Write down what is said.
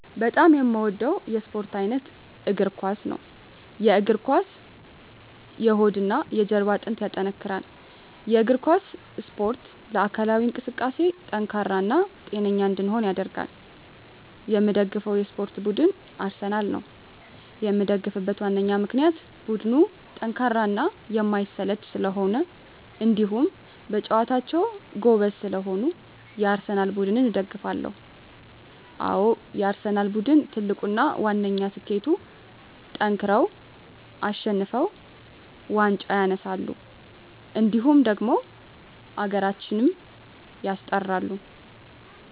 በጣም የምወደው የስፓርት አይነት የእግር ኳስ። የእግር ኳስ የሆድና የጀርባ አጥንትን ያጠነክራል። የእግር ኳስ እስፖርት ለአካላዊ እንቅስቃሴ ጠንካራ እና ጤነኛ እንድንሆን ያደርጋል። የምደግፈው የስፓርት ቡድን አርሰናል ነው። የምደግፍበት ዋነኛ ምክንያት ቡድኑ ጠንካራና የማይሰለች ስለሆኑ እንዲሁም በጨዋታቸው ጎበዝ ስለሆኑ የአርሰናል ቡድንን እደግፋለሁ። አዎ የአርሰናል ቡድን ትልቁና ዋነኛ ስኬቱጠንክረው አሸንፈው ዋንጫ ያነሳሉ እንዲሁም ደግሞ ሀገራችንም ያስጠራሉ።